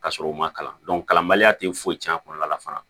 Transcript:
Ka sɔrɔ u ma kalan kalanbaliya tɛ foyi tiɲɛ a kɔlɔlɔ la fana